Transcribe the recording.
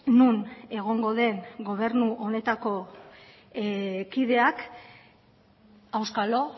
non egongo den gobernu honetako kideak auskalo